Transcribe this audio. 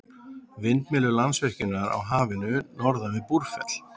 Vindmyllur Landsvirkjunar á Hafinu norðan við Búrfell.